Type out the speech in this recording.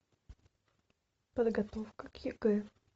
подготовка к егэ